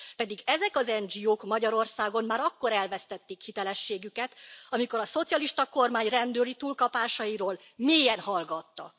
Pedig ezek az NGO k Magyarországon már akkor elvesztették hitelességüket, amikor a szocialista kormány rendőri túlkapásairól mélyen hallgattak.